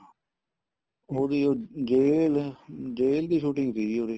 ਉਹਦੀ ਉਹ jail jail ਦੀ shooting ਸੀਗੀ ਉਰੇ